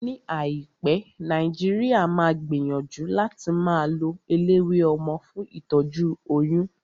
Ní àìpé, Nàìjíríà máa gbìyànjú láti máa lo eléwé ọmọ fún ìtọ́jú oyún